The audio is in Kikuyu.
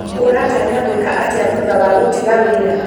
ũratanya gwĩka atĩa thutha wa gũtiga wĩra?